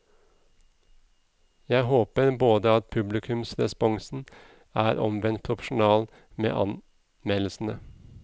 Jeg får håpe at publikumsresponsen er omvendt proporsjonal med anmeldelsene.